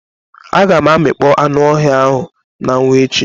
Aga m amịkpọ anụ ọhịa ahu na anwu echi.